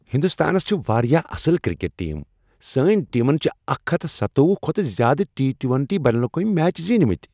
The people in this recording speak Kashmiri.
ہندوستانس چھ واریاہ اصل کرکٹ ٹیم سٲنۍ ٹیمن چھ اکھ ہتھ سَتوۄہُ کھۄتہٕ زیادٕ ٹی ٹُۄنٹی بین الاقوٲمی میچ زینۍمتۍ